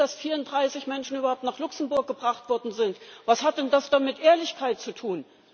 Wenn bis jetzt erst 34 Menschen überhaupt nach Luxemburg gebracht worden sind, was hat denn das dann mit Ehrlichkeit zu tun?